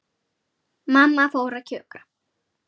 Mamma fór að kjökra.